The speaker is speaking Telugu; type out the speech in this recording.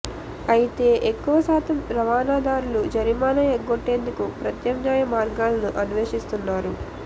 అయితే ఎక్కువ శాతం రవాణాదారులు జరిమానా ఎగ్గొట్టేందుకు ప్రత్యామ్నాయ మార్గాలను అన్వేషిస్తున్నారు